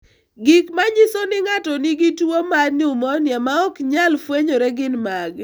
Gik ma nyiso ni ng'ato nigi tuwo mar nyumonia ma ok nyal fwenyore gin mage?